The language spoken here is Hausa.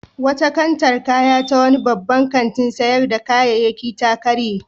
Wata kantar kaya ta wani babban kantin sayar da kayayyaki ta karye.